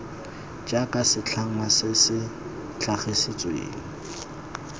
jaaka setlhangwa se se tlhagisitsweng